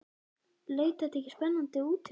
Leit þetta ekki spennandi út hjá þeim?